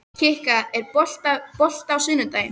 Kikka, er bolti á sunnudaginn?